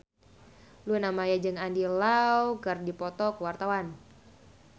Luna Maya jeung Andy Lau keur dipoto ku wartawan